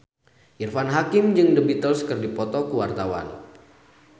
Irfan Hakim jeung The Beatles keur dipoto ku wartawan